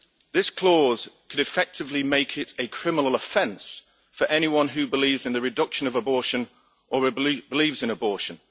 This clause could effectively make it a criminal offence for anyone who believes in the reduction of abortion or believes in abortion.